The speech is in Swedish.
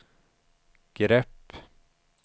grepp